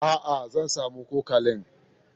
Aa, zan samo cokalin.